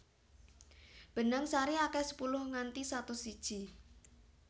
Benang sari akeh sepuluh nganti satus iji